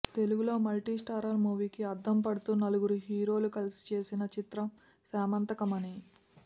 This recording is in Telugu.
తెలుగులో మల్టి స్టారర్ మూవీకి అద్దం పడుతూ నలుగురు హీరోలు కలిసి చేసిన చిత్రం శమంతకమణి